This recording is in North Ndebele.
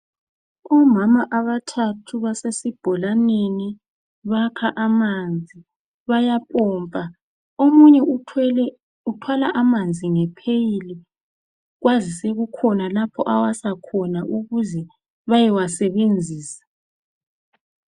Omama abathathu basesibholaneni bakha amanzi bayapompa. Omunye uthwele uthwala amanzi ngepheyili kwazise kukhona lapho awasa khona ukuze bayewasebenzisa.